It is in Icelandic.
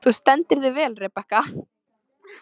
Þú stendur þig vel, Rebekka!